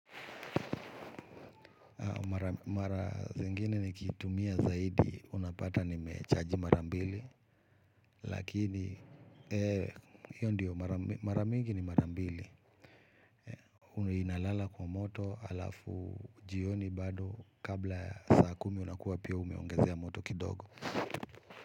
Mara zingine nikitumia zaidi, unapata nimechaji mara mbili, lakini, hiyo ndiyo, mara mingi ni mara mbili. Huwa inalala kwa moto, alafu jioni bado, kabla saa kumi unakuwa pia umeongezea moto kidogo.